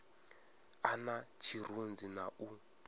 a na tshirunzi na u